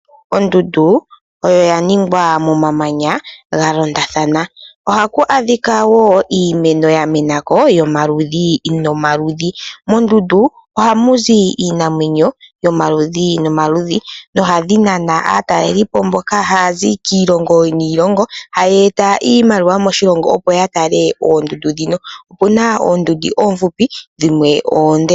Ondundu oya ningwa momamanya ga londathana , ohaku adhika wo iimeno ya menako yomaludhi nomaludhi , mondundu ohamu zi iinamwenyo yomaludhi nomaludhi nohadhi nana aatalelipo mboka haya zi kiilongo niilongo haya eta iimaliwa moshilongo opo ya tale oondundu dhino, opuna oondundu oofupi, dhimwe oonde.